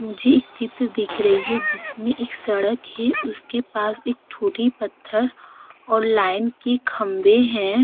मुझे एक चित्र दिख रही है जिसमें एक सड़क है। उसके पास एक छोटी पत्थर और लाइन के खंबे हैं।